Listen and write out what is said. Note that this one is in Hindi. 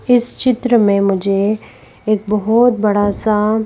इस चित्र में मुझे एक बहुत बड़ा सा--